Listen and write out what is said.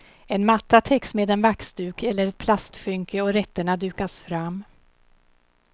En matta täcks med en vaxduk eller ett plastskynke och rätterna dukas fram.